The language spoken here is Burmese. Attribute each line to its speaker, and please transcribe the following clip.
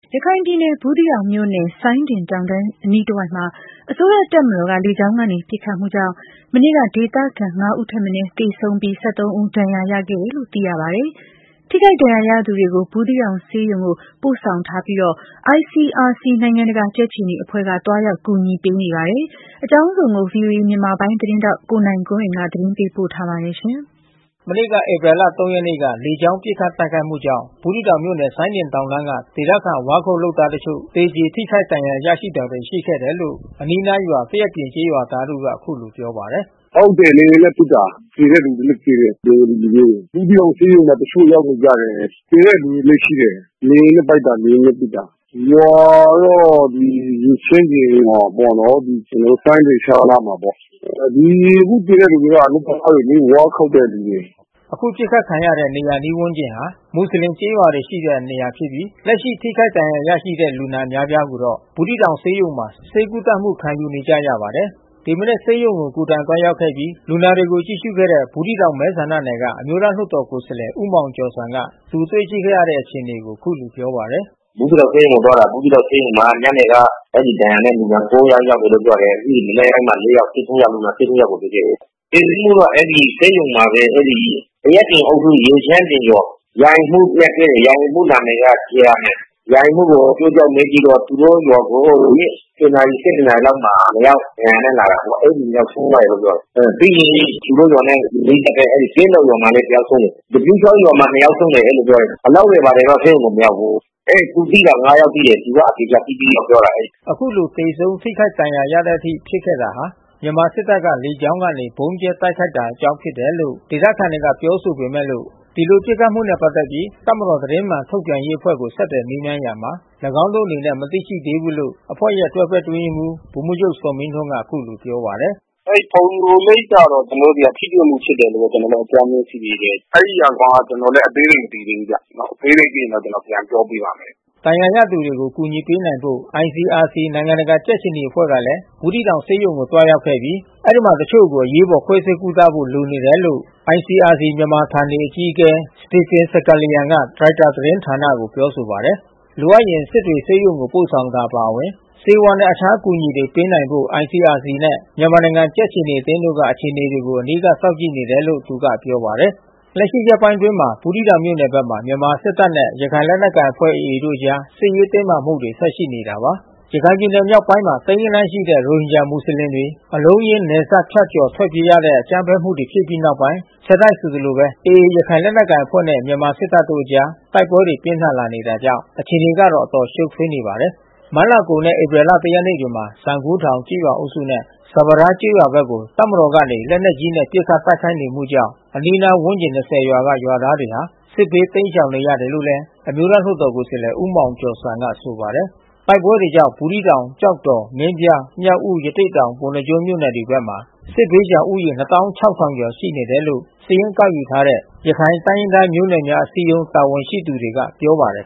Speaker 1: ရခိုင်ပြည်နယ်၊ ဘူးသီးတောင်မြို့နယ်၊ စိုင်းဒင်တောင်တန်းအနီးတဝိုက်မှာ အစိုးရတပ်မတော်ကနေ လေကြောင်းကနေ ပစ်ခတ်မှုကြောင့် မနေ့က ဒေသခံ ဦးထက်မနည်း သေဆုံးပြီး ဦးဒဏ်ရာရခဲ့တယ်လို့ သိရပါတယ်။ ထိခိုက်ဒဏ်ရာရသူတွေကို ဘူးသီးတောင်ဆေးရုံကို ပို့ဆောင်ထားပြီး ICRC နိုင်ငံတကာကြက်ခြေနီအဖွဲ့က သွားရောက်အကူအညီပေးနေပါတယ်။ အကြောင်းစုံကို ဗွီအိုအေ မြန်မာပိုင်းသတင်းထောက် ကိုနိုင်ကွန်းအိမ် သတင်းပေးပို့ထားပါတယ်။
Speaker 2: မနေ့ကဧပြီလ ရက်နေ့က လေကြောင်းပစ်ခတ်တိုက်ခိုက်မှုကြောင့် ဘူးသီးတောင်မြို့နယ် စိုင်းဒင်တောင်တန်း က ဒေသခံ ဝါးခုတ်လုပ်သားတချို့ သေကြေ ထိခိုက်ဒဏ်ရာရတာတွေ ရှိခဲ့တယ်လို့ အနီးနားရွာ သရက် ပြင် ကျေးရွာသားတဦးက အခုလိုပြောပါတယ်။
Speaker 1: “ဟုတ်တယ် လေယာဉ်နဲ့ပစ်တာ။ သေတဲ့သူတွေလဲ သေတယ်။ ဘင်္ဂ ါလီလူမျိုးတွေ။ ဘူးသီးတောင်ဆေးရုံမှာ တချို့ ရောက်နေကြတယ်။ သေတဲ့လူတွေလဲရှိတယ်။ လေယာဉ်နဲ့တိုက်တာ လေယာဉ်နဲ့ပစ်တာ။ ရွာတော့ ရေချမ်းပြင် ရွာ ပေါ့နော်။ ကျွန်တော်တို့စိုင်းဒင်ချောင်းနားမှာပေါ့။ ဒီအခုသေတဲ့သူတွေက အလုပ်သမားတွေ လေ။ ဝါးခုတ်တဲ့သူတွေ။
Speaker 2: ” အခု ပစ်ခတ်ခံရတဲ့ နေရာအနီးဝန်းကျင်ဟာ မွတ်ဆလင်ကျေးရွာတွေရှိတဲ့နေရာဖြစ်ပြီး၊ လက်ရှိ ထိခိုက်ဒဏ်ရာရရှိတဲ့ လူနာအများအပြားကိုတော့ ဘူးသီးတောင်ဆေးရုံမှာ ဆေးကုသမှု ခံယူနေကြရပါတယ်။ ဒီမနက် ဆေးရုံကိုကိုယ်တိုင် သွားရောက်ခဲ့ပြီး လူနာတွေကိုကြည့်ရှုခဲ့တဲ့ ဘူးသီးတောင်မဲဆန္ဒနယ်က အမျိုးသားလွှတ်တော် ကိုယ်စားလှယ် ဦးမောင်ကျော်ဇံက သူတွေ့ခဲ့ရတဲ့ အခြေအနေကို အခုလိုပြောပါတယ်။ “ဘူးသီးတောင်ဆ
Speaker 1: ေးရုံကိုသွားတာ ဘူးသီးတောင်ဆေးရုံမှာ ညနေမှာ အဲဒီဒဏ်ရာနဲ့လူက ယောက် ရောက်နေတယ် လို့ ပြောတယ်။ မနက်ပိုင်းမှာ ယောက်။ အားလုံးပေါင်း လူနာ ယောက်ကိုတွေ့ခဲ့တယ်။ သေဆုံးမှု တော့ အဲဒီ ဆေးရုံမှာဘဲ အဲဒီသရက်ပြင်အုပ်စု ရေချမ်းပြင်ရွာ ရာအိမ်မှူးနဲ့တွေ့တယ်။ ရာအိမ်မှူးနာမည်က ဂျီအာမင်။ ရာအိမ်မှူး ကို အကျိုးကြောင်းမေးကြည့်တော့ သူတို့ရွာကို ဒီနေ့ နာရီ - နာရီလောက်မှာ ယောက်ဒဏ်ရာနဲ့လာတာ။ အဲဒီ ယောက်ဆုံးသွားတယ်လို့တော့ပြောတယ်။ ပြီးရင်သူတို့ ရွာနဲ့နီးစပ်တဲ့ အဲဒီကင်းတောင်ရွာမှာလဲ တယောက် ဆုံးတယ်။ သပြုချောင်းရွာမှာ ယောက်ဆုံးတယ်အဲဒီလိုပြောတယ်။ အလောင်းတွေဘာတွေတော့ ဆေးရုံကို မရောက် ဘူး။ အဲသူသိတာ ယောက်သိတယ်။ သူကအသေချာသိပြီးတော့ပြောတာ။
Speaker 2: ” အခုလို သေဆုံး၊ ထိခိုက်ဒဏ်ရာရတဲ့အထိ ဖြစ်ခဲ့တာဟာ မြန်မာစစ်တပ်က လေကြောင်းကနေ ဗုံးကြဲပစ်ခတ်တာ ကြောင့် ဖြစ်တယ်လို့ ဒေသခံတွေက ပြောဆိုပေမယ့်လို့၊ ဒီလိုပစ်ခတ်မှုနဲ့ပက်သက်ပြီး တပ်မတော်သတင်းမှန်ထုတ်ပြန် ရေး အဖွဲ့ကိုဆက်သွယ်မေးမြန်းရာမှာ ၎င်းတို့အနေနဲ့ မသိရှိသေးဘူးလို့ အဖွဲ့ရဲ့ တွဲဘက်အတွင်းရေးမှူး ဗိုလ်မှူး ချုပ်ဇော်မင်းထွန်းကအခုလိုပြောပါတယ်။
Speaker 1: “အဲဒီ ဖုန်ညိုလိပ်ကတော့ ကျွန်တော်တိုကဆီက ထိတွေ့မှုဖြစ်တယ်လို့တော့ ကျွန်တော်တို့အကြမ်းဖျင်းသိသေး တယ်။ အဲဒီကောင်က ကျွန်တော်လဲအသေးစိတ် မသိသေးဘူးဗျ။ အသေးစိတ် သိရင်ကျွန်တော်ပြန်ပြောပေးပါ့မယ်
Speaker 2: ။” ဒဏ်ရာရသူတွေကို အကူအညီပေးနိုင်ဖို့ ICRC နိုင်ငံတကာကြက်ခြေနီအဖွဲ့ကလည်း ဘူးသီးတောင်ဆေးရုံကို သွားရောက်ခဲ့ပြီး၊ အဲဒီမှာ အချို့ကို အရေးပေါ် ခွဲစိတ်ကုသဖို့ လိုနေတယ်လို့ ICRC မြန်မာဌာနေအကြီးအကဲ Stephan Sakalian က ရိုက်တာသတင်းဌာနကို ပြောပါတယ်။ လိုအပ်ရင် စစ်တွေဆေးရုံကို ပို့ဆောင်တာ အပါအဝင် ဆေးဝါးနဲ့ အခြားအကူအညီတွေပေးနိုင်ဖို့ ICRC နဲ့ မြန်မာနိုင်ငံကြက်ခြေနီအသင်းတို့က အခြေအနေတွေကို အနီးကပ်စောင့်ကြည့်နေတယ်လို့လည်း သူက ပြောပါတယ်။ လက်ရှိ ရက်ပိုင်းတွေအတွင်းမှာတော့ ဘူးသီးတောင်မြို့နယ်ဘက်မှာ မြန်မာ့စစ်တပ်နဲ့ ရခိုင်လက်နက်ကိုင်အဖွဲ့ AAတို့အကြား စစ်ရေးတင်းမာနေမှုတွေ ဆက်ရှိနေတာပါ။ ရခိုင်ပြည်နယ်မြောက်ပိုင်းမှာ သိန်းဂဏန်းရှိတဲ့ ရိုဟင်ဂျာမွတ်ဆလင်တွေ အလုံးအရင်း နယ်စပ်ဖြတ်ကျော် ထွက်ပြေးကြရတဲ့ အကြမ်းဖက်မှုတွေဖြစ်ပြီးနောက်ပိုင်း၊ ဆက်တိုက်ဆိုသလိုပဲ AA ရခိုင်လက်နက်ကိုင်အဖွဲ့နဲ့ မြန်မာစစ်တပ်တို့အကြား တိုက်ပွဲတွေ ပြင်းထန်လာတာကြောင့် အခြေအနေကတော့ အတော်ရှုပ်ထွေး နေပါတယ်။ မတ်လအကုန်နဲ့ဧပြီလ ရက်နေ့တွေမှာ စံဂိုးထောင်ကျေးရွာအုပ်စုနဲ့ စပါးထားကျေးရွာဘက်ကို တပ်မတော်က နေ လက်နက်ကြီးတွေနဲ့ပစ်ခတ်တိုက်ခိုက်နေမှုကြောင့် အနီးနားဝန်းကျင် ရွာက ရွာသားတွေဟာ စစ်ဘေး တိမ်းရှောင်နေကြရတယ်လို့လဲ အမျိုးသားလွှတ်တော် ကိုယ်စားလှယ် ဦးမောင်ကျော်ဇံက ဆိုပါတယ်။ တိုက်ပွဲတွေကြောင့် ဘူးသီးတောင် ၊ကျောက်တော် ၊မင်းပြား၊ မြောက်ဦး ၊ ရသေ့တောင်၊ ပုဏ္ဏား ကျွန်း မြို့နယ်ဘက်မှာ စစ်ဘေးရှောင်ဦးရေ ရှိနေတယ်လို့ စရင်းကောက်ယူနေတဲ့ ရခိုင်တိုင်းရင်းသားမျိုးနွယ်များ အစည်းအရုံး တာဝန်ရှိသူတွေက ပြောပါတယ်